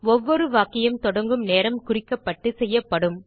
ஒவ்வொரு வாக்கியம் தொடங்கும் நேரம் குறிக்கப்பட்டுச் செய்யப்படும்